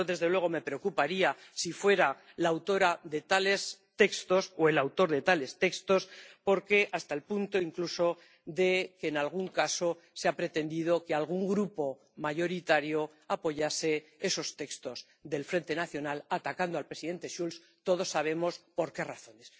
Yo, desde luego, me preocuparía si fuera la autora de tales textos o el autor de tales textos, porque se ha llegado incluso hasta el punto de que en algún caso se ha pretendido que algún grupo mayoritario apoyase esos textos del Frente Nacional atacando al presidente Schulz, todos sabemos por qué razones.